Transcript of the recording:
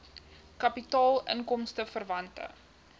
kapitaal inkomste verwante